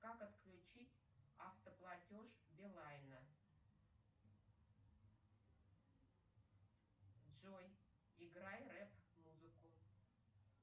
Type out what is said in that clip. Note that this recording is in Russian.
как отключить автоплатеж билайна джой играй реп музыку